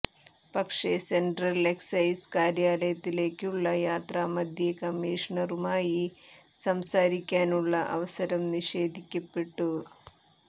പക്ഷെ central excise കാര്യാലയത്തിലേക്കുള്ള യാത്രാമധ്യേ കമ്മീഷണറുമായി സംസാരിക്കാനുള്ള അവസരം നിഷേധിക്കപ്പെട്ടു